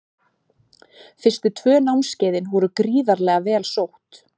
Fyrstu tvö námskeiðin voru gríðarlega vel sótt.